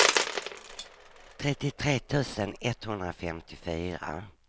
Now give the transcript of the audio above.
trettiotre tusen etthundrafemtiofyra